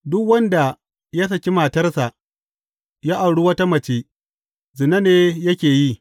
Duk wanda ya saki matarsa ya auri wata mace, zina ne yake yi.